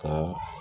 Ka